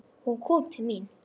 Hún kom til mín.